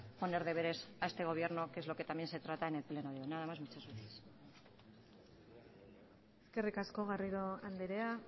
poner deberes a este gobierno que es lo que también se trata en el pleno de hoy nada más muchas gracias eskerrik asko garrido andrea